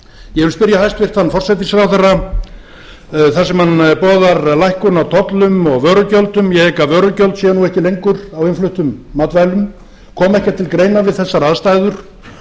ég vil spyrja hæstvirtan forsætisráðherra þar sem hann boðar lækkun á tollum og vörugjöldum ég hygg að vörugjöld séu nú ekki lengur á innfluttum matvælum kom ekki til greina við þessar aðstæður